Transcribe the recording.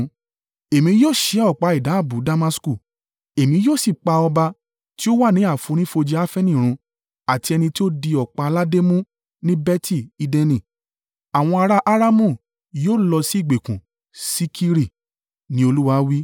Èmi yóò ṣẹ́ ọ̀pá ìdábùú Damasku; Èmi yóò sì pa ọba tí ó wà ní àfonífojì Afeni run àti ẹni tí ó di ọ̀pá aládé mú ní Beti-Edeni. Àwọn ará a Aramu yóò lọ sí ìgbèkùn sí Kiri,” ni Olúwa wí.